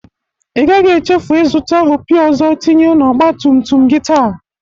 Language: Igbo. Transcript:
Ị gaghi echefu ịzụta opi ọzọ tinye n'ógbatumtum gi taa!